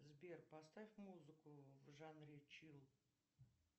сбер поставь музыку в жанре чил